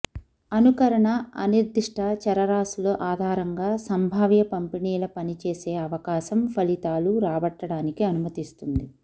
అనుకరణ అనిర్దిష్ట చరరాశుల ఆధారంగా సంభావ్య పంపిణీల పనిచేసే అవకాశం ఫలితాలు రాబట్టడానికి అనుమతిస్తుంది